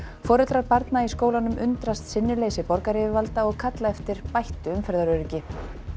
foreldrar barna í skólanum undrast sinnuleysi borgaryfirvalda og kalla eftir bættu umferðaröryggi